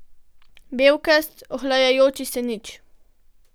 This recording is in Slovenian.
Belkast, ohlajajoči se nič.